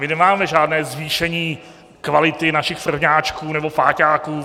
My nemáme žádné zvýšení kvality našich prvňáčků nebo páťáků.